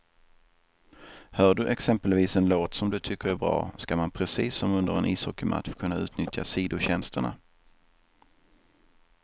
Hör du exempelvis en låt som du tycker är bra, ska man precis som under en ishockeymatch kunna utnyttja sidotjänsterna.